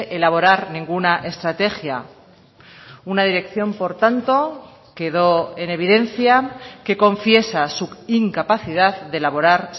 elaborar ninguna estrategia una dirección por tanto quedó en evidencia que confiesa su incapacidad de elaborar